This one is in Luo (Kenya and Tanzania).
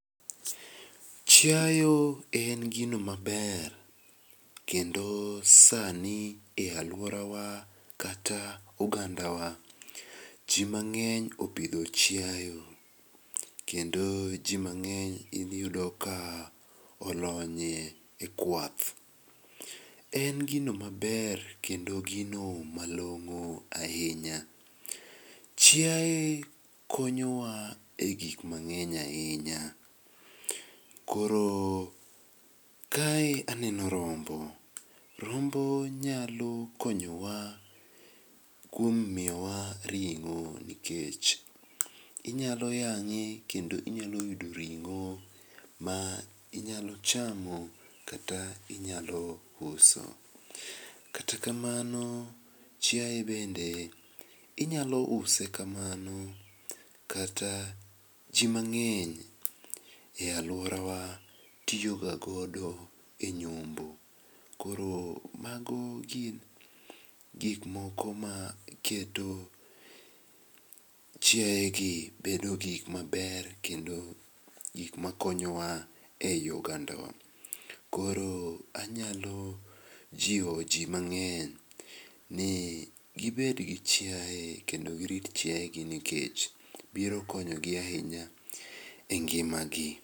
Chiayo en gino maber, kendo sani e aluorawa kata ogandawa jii mang'eny opidho chiayo, kendo jii mang'eny iyudo ka olonye e kwath. En gino maber, kendo gino malong'o ahinya. Chiaye konyowa e gikma ng'eny ahinya, koro kae aneno rombo. Rombo nyalo konyowa kuom miyowa ring'o nikech inyalo yang'e kendo inyalo yudo ring'o mainyalo chamo kata inyalo uso. Kata kamano, chiaye bende inyalo use kamano, kata jii mang'eny e aluorawa tiyoga godo e nyombo, koro mago gin gikmoko maketo chiayegi bedo gikmaber kendo gikmakonyo wa ei oganda wa. koro anyalo jiwo jii mang'eny ni gibedgi chiaye, kendo girit chiayegi nikech biro konyogi ahinya e ngima gi.